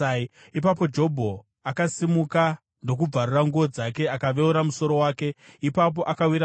Ipapo Jobho akasimuka ndokubvarura nguo dzake akaveura musoro wake. Ipapo akawira pasi